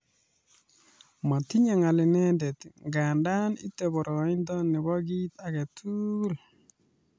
Motinye ng'al indet nganda itei boroindo nebo kiit age tugul .